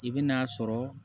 I bɛ n'a sɔrɔ